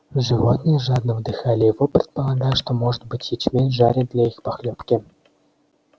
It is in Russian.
животные жадно вдыхали его предполагая что может быть ячмень жарят для их похлёбки